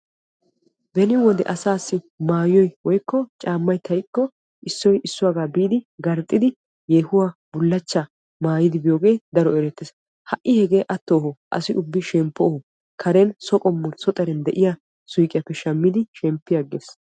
Beni wode asaassi maayoy woykko caammay xayikko issoy issuwaagaa biidi yeehuwaa woykko bullachchaa maayidi biyoogee daro erettees. ha'i hegee attohoo, asi ubbi shemppohoo, karen so qommon so xaden diyaa suyqiyaappe shemppi aggees.